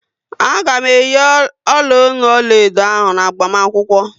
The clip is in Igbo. A ga m eyi ọla ọnụ ọlaedo ahụ n'agbamakwukwo